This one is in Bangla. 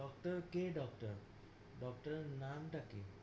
doctor কে doctor, doctor এর নামটা কি?